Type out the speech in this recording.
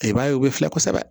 I b'a ye u bɛ filɛ kosɛbɛ